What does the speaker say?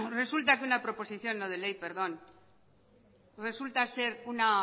resulta que una proposición no de ley resulta ser una